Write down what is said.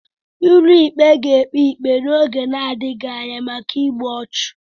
Ụlọikpe ga-ekpe ikpe n'oge na-adịghị anya maka igbu ọchụ